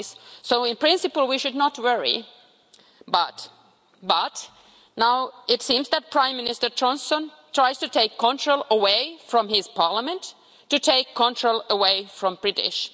So, in principle, we should not worry, but now it seems that Prime Minister Johnson is trying to take control away from his parliament, to take control away from the British.